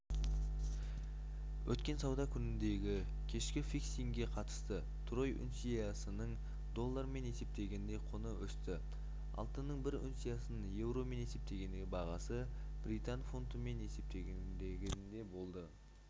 өткен сауда күніндегікешкі фиксингке қатысты трой унциясының доллармен есептегендегі құны өсті алтынның бір унциясының еуромен есептегендегі бағасы британ фунтымен есептегенде болды